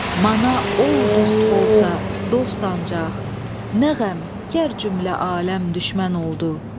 Mana ol dust bolsa dost ancaq, nə qəm gər cümlə aləm düşmən oldu.